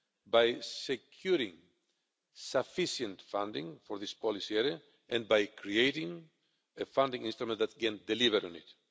by securing sufficient funding for this policy area and by creating a funding instrument that can deliver on it.